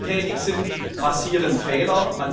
Wo Menschen tätig sind, passieren Fehler.